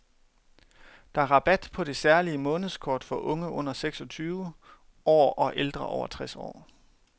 Der er rabat på det særlige månedskort for unge under seksogtyve år og ældre over tres år.